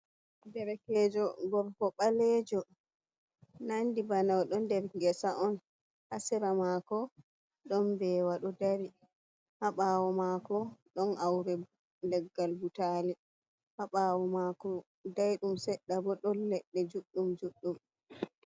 Derekejo gorko ɓaleejo, nandi bana o ɗon nder ngesa on, ha sera maako ɗon mbeewa ɗo dari, ha ɓaawo maako ɗon aaure leggal butaali, ha ɓaawo maako daayɗum seɗɗa bo ɗon leɗɗe juɗɗum-juɗɗum.